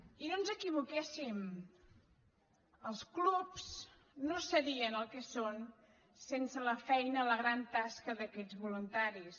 i no ens equivoquéssim els clubs no serien el que són sense la feina la gran tasca d’aquests voluntaris